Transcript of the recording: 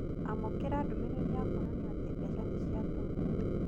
Amũkĩra ndũmĩrĩri ya kũonania atĩ mbeca nĩ ciatũmwo.